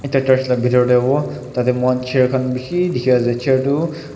Ekta church la bhetor tey hobo tate moihan chair khan beshe dekhe ase chair tu.